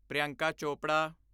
Priyanka Chopra